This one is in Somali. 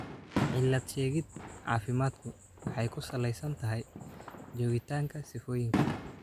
Cilad-sheegid caafimaadku waxay ku salaysan tahay joogitaanka sifooyinka.